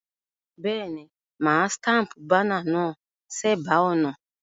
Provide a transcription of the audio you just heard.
Béèni, mà á staple banner náà sébàá ònà